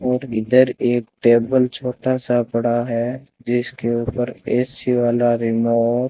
और इधर एक टेबल छोटा सा पड़ा है जिसके ऊपर ए_सी वाला रिमोट --